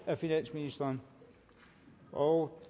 af finansministeren og